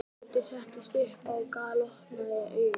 Tóti settist upp og galopnaði augun.